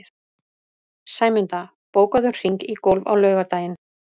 Sæmunda, bókaðu hring í golf á laugardaginn.